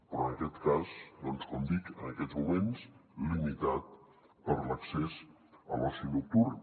però en aquest cas doncs com dic en aquests moments limitat per a l’accés a l’oci nocturn